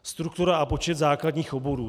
Struktura a počet základních oborů.